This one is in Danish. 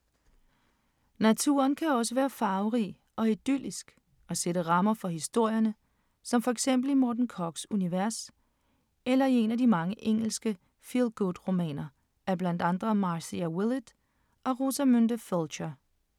Naturen kan også være farverig og idyllisk og sætte rammer for historierne som for eksempel i Morten Korchs univers eller i en af de mange engelske feel-good-romaner af blandt andre Marcia Willett og Rosamunde Pilcher.